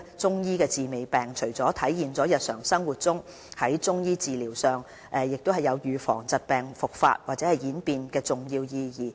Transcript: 中醫強調"治未病"，除了體現在日常生活中，在中醫診療上亦有預防疾病復發或演變的重要意義。